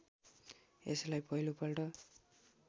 यसलाई पहिलो पल्ट